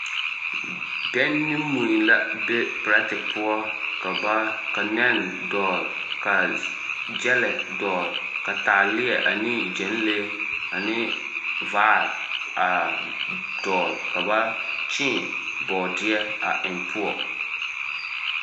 Bɛŋ ne mui la be perɛte poɔ ka nɛn dɔɔl ka ɡyɛlɛ dɔɔl ka taaleɛ ane ɡyɛnlee ane vaare a dɔɔl ka ba kyēē bɔɔdeɛ a eŋ poɔ.